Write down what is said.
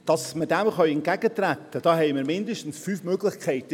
Damit wir dem entgegentreten können, haben wir mindestens fünf Möglichkeiten.